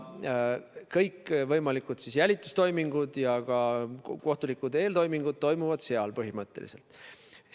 Kõikvõimalikud jälitustoimingud ja ka kohtulikud eeltoimingud toimuvad põhimõtteliselt seal.